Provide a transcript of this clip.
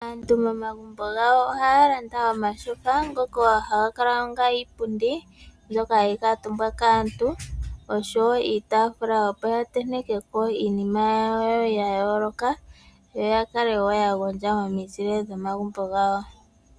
Aantu momagumbo gawo ohaya landa omatyofa ngoka ohaga kala onga iipundi mbyoka hayi kaatumbwa kaantu oshowo iitafula opo ya ntentekeko iinima yawo ya yooloka yo ya kale ya gondja momizile dhomagumbo gawo.